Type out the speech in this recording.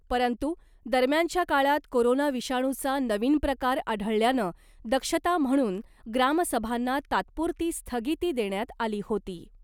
परंतू , दरम्यानच्या काळात कोरोना विषाणुचा नवीन प्रकार आढळल्यानं दक्षता म्हणून ग्रामसभांना तात्पुरती स्थगिती देण्यात आली होती .